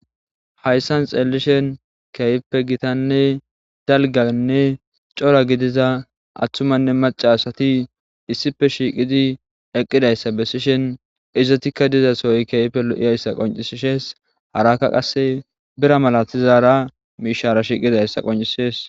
Hayssan xeelishen keeyppe gitanne dalganne cora gidiza atthumanne maca asati issife shiiqidi eqqidayssa besishen izatikka dizasooy keeype lo'iyayssa qoncisishees harakka qasse bira malatizara mishara shiiqidayssa qoncisees.